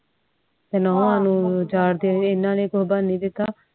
ਤੇ ਨੋਹਵਾ ਨੂੰ ਉਰਦੂ ਦੇ ਹਨ ਨੇ ਨੀ ਦਿਤਾ